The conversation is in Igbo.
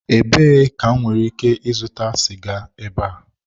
Ebee ka m nwere ike ịzụta siga ebe a?